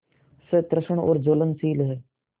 सतृष्ण और ज्वलनशील है